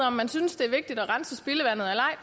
om man synes det er vigtigt at rense spildevandet eller